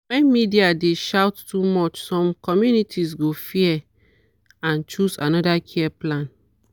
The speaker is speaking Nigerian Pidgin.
when media dey shout too much some communities go fear and choose another care plan.